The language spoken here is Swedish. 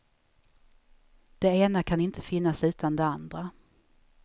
Det ena kan inte finnas utan det andra.